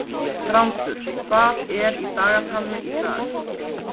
Þrándur, hvað er í dagatalinu í dag?